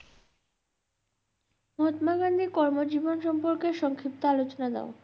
মহাত্মা গান্ধীর কর্ম জীবন সম্পর্কে সংক্ষিপ্ত আলোচনা দাও